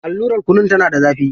Allurar kunin tana da zafi.